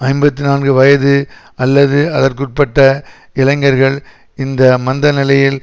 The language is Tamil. ஐம்பத்தி நான்கு வயது அல்லது அதற்குட்டபட்ட இளைஞர்கள் இந்த மந்த நிலையில்